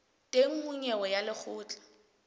teng ho nyewe ya lekgotla